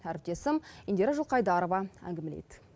әріптесім индира жылқайдарова әңгімелейді